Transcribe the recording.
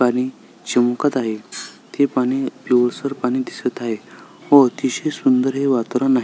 पाणी चमकत आहे ते पाणी पिवसळर पाणी दिसत आहे व अतिशय सुंदर हे वातावरण आहे.